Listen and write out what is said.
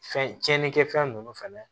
Fɛn tiɲɛnikɛfɛn ninnu fɛnɛ